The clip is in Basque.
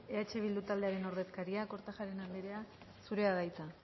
eh bildu taldearen ordezkaria kortajarena anderea zurea da hitza